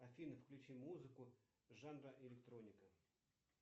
афина включи музыку жанра электроника